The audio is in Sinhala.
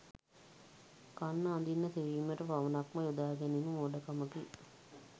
කන්න, අඳින්න, සෙවීමට පමණක්ම යොදා ගැනීම මෝඩකමකි.